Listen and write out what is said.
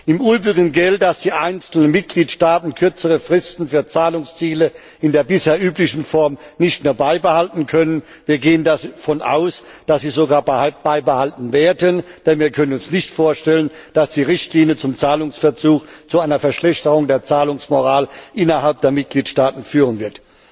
Im übrigen gilt, dass die einzelnen Mitgliedstaaten kürzere Fristen für Zahlungsziele in der bisher üblichen Form nicht nur beibehalten können, wir gehen davon aus, dass sie sogar beibehalten werden, denn wir können uns nicht vorstellen, dass die Richtlinie zum Zahlungsverzug zu einer Verschlechterung der Zahlungsmoral innerhalb der Mitgliedstaaten führen wird.